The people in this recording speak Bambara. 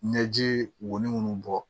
Ɲɛji wolon bɔ